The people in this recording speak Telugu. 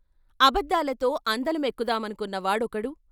అబద్ధాలతో అందలమెక్కుదామనుకున్న వాడొకడు.